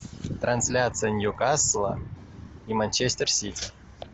трансляция ньюкасла и манчестер сити